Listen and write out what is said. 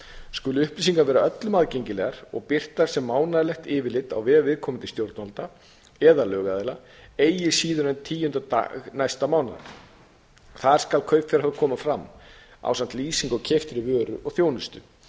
skulu upplýsingar vera öllum aðgengilegar og birtast sem mánaðarlegt yfirlit á vef viðkomandi stjórnvalda eða lögaðila eigi síður en tíunda dag næsta mánaðar þar skal kaupfjárhæð koma fram ásamt lýsingu á keyptri vöru og þjónustu